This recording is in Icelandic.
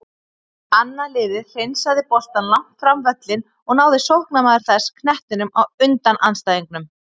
Annað liðið hreinsaði boltann langt fram völlinn og náði sóknarmaður þess knettinum á undan andstæðingunum.